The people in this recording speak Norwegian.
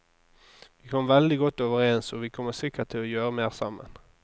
Vi kom veldig godt overens, og vi kommer sikkert til å gjøre mer sammen.